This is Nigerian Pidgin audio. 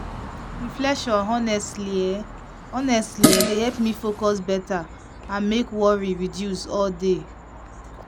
reflection honestly[um]honestly[um]dey help me focus better and make worry reduce all day.